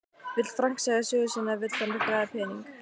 Vill Frank segja sögu sína eða vill hann græða pening?